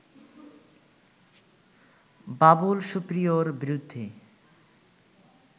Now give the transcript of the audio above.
বাবুল সুপ্রিয়র বিরুদ্ধে